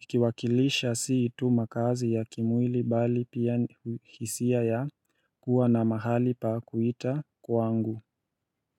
ikiwakilisha siitu makazi ya kimwili bali pia hisia ya kuwa na mahali pa kuita kwa angu.